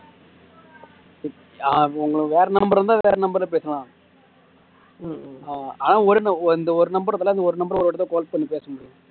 ஆஹ் வேற number இருந்தா வேற number ல பேசலாம் ஆனா ஒரு இந்த ஒரு number இருக்குல்ல ஒரு number ல ஒரு வாட்டி தான் call பண்ணி பேசணும்